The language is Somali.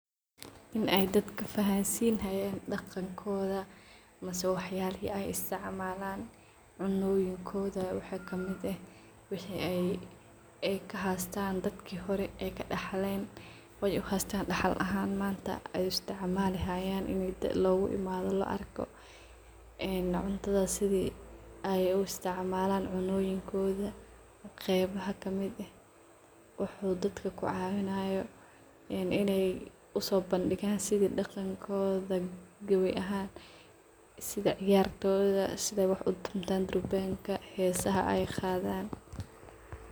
In ay dadka fahansinay daqankodha, waxyalaha ay isticmalan cunoyinkodha, waxa kamid eh ay kahastan dadka hore ay kadaxlen daxal ahan manta ay u isticam, alayan . Eeen cuntadha sidi ay uisticmalan cunoyinkodha , qeb maxaa kamid eh wuxu dadka kaciwanayo sida ciyarkodha sida ay durbanka utumtan iticmalan cunadoda qebaha kamid in ay uso bandigan hesaha ay qadan.